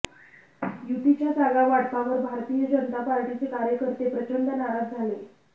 युतीच्या जागा वाटपावर भारतीय जनता पार्टीचे कार्यकर्ते प्रचंड नाराज झाले